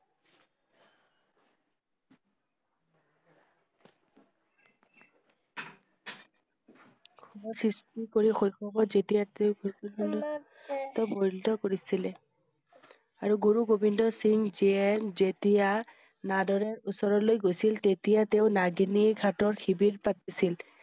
শৈশৱ ত যেতিয়া তেওঁ কৰিছিলে আৰু গুৰু গোবিন্দ সিংহ যিয়ে যেতিয়া নদৰৰ ওচৰলৈ গৈছিল। তেতিয়া তেওঁ নগিনি ঘাটত শিবিৰ পাতিছিল।